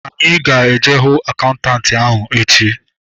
Anyị ga-eje hụ akaụntanti ahu echi